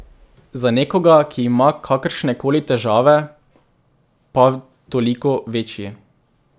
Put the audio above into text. Za nekoga, ki ima kakršnekoli težave pa toliko večji.